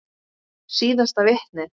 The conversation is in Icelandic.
Síðasta vitnið.